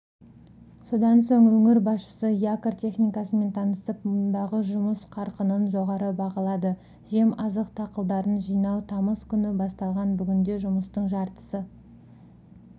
содан соң өңір басшысы якорь техникасымен танысып мұндағы жұмыс қарқынын жоғары бағалады жем-азық дақылдарын жинау тамыз күні басталған бүгінде жұмыстың жартысы